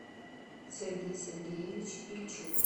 сергей сергеевич ильчук